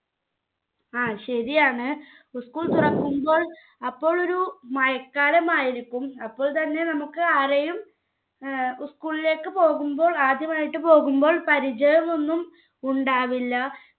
ങ്ഹാ ശരിയാണ്. school തുറക്കുമ്പോൾ അപ്പോൾ ഒരു മഴക്കാലം ആയിരിക്കും. അപ്പോൾ തന്നെ നമുക്ക്ആരെയും school ലേക്ക് പോകുമ്പോൾ ~ ആദ്യമായിട്ട് പോകുമ്പോൾ പരിചയം ഒന്നുമുണ്ടാവില്ല.